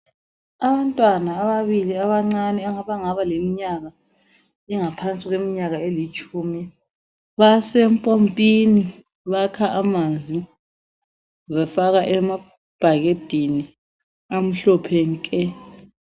Abantwana ababili abancane abangaba leminyaka engaphansi kweminyaka elitshumi basempompini bakha amanzi bafaka emabhakedeni amhlophe nke.